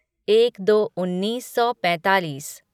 एक दो उन्नीस सौ पैंतालीस